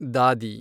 ದಾದಿ